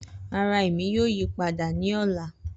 Rara Emi yoo yipada ni ọla